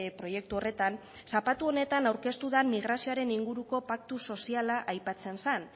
proiektu horretan zapatu honetan aurkeztu den migrazioaren inguruko paktu soziala aipatzen zen